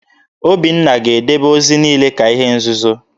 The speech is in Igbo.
Obinna ga-edebe ozi niile ka ihe nzuzo!